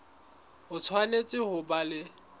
o tshwanetse ho ba le